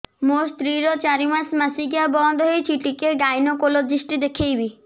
ମୋ ସ୍ତ୍ରୀ ର ଚାରି ମାସ ମାସିକିଆ ବନ୍ଦ ହେଇଛି ଟିକେ ଗାଇନେକୋଲୋଜିଷ୍ଟ ଦେଖେଇବି